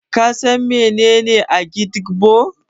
Ka san menene Agidigbo?